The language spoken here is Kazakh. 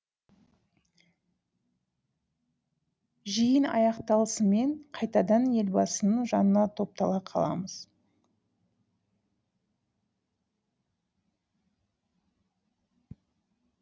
жиын аяқталысымен қайтадан елбасының жанына топтала қаламыз